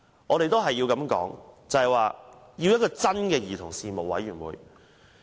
我們需要一個真正的兒童事務委員會。